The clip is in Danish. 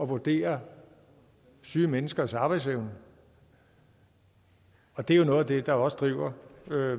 vurdere syge menneskers arbejdsevne og det er jo noget af det der også driver